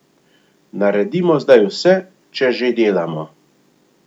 Naredimo zdaj vse, če že delamo.